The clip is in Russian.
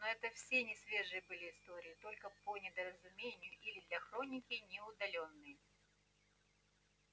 но это все несвежие были истории только по недоразумению или для хроники не удалённые